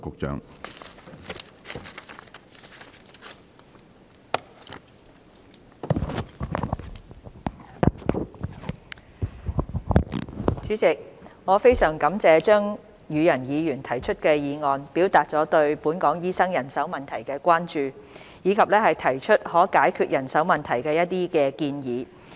主席，我非常感謝張宇人議員提出的議案，表達了對本港醫生人手問題的關注，以及提出一些可解決人手問題的建議。